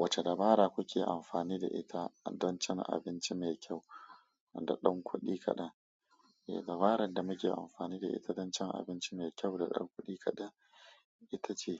Wacce dabara kuke amfani da ita don cin abinci mai kyau da ɗan kudi kaɗan? Eh, dabarar da muke amfani da ita don cin abinci mai kyau da ɗan kudi kaɗan ita ce